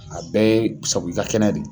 A bɛɛ ye sabu i ka kɛnɛ de.